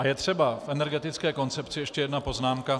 A je třeba v energetické koncepci ještě jedna poznámka.